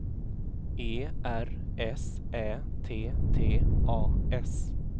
E R S Ä T T A S